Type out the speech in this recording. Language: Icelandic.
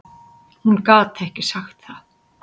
Hún gat ekki sagt það.